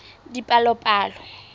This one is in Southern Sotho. dipalopalo